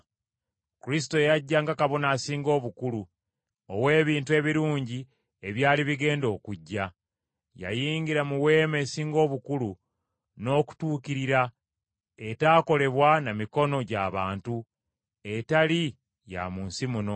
Kristo yajja nga Kabona Asinga Obukulu ow’ebintu ebirungi ebyali bigenda okujja. Yayingira mu weema esinga obukulu n’okutuukirira, etaakolebwa na mikono gya bantu, etali ya mu nsi muno.